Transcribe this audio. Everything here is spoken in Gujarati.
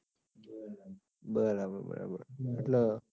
બરાબર બરાબર એટલે?